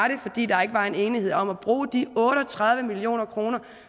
fordi der ikke var enighed om at bruge de otte og tredive million kr